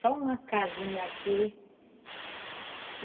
Só uma casinha aqui.